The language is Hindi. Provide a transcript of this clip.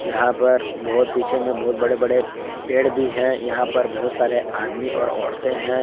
यहां पर बहुत पीछे में बहुत बड़े बड़े पेड़ भी है यहां पर बहुत सारे आदमी और औरते हैं।